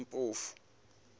mpofu